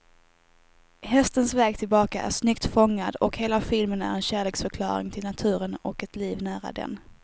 Hästens väg tillbaka är snyggt fångad, och hela filmen är en kärleksförklaring till naturen och ett liv nära den.